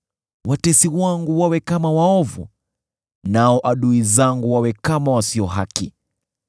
“Watesi wangu wawe kama waovu, nao adui zangu wawe kama wasio haki!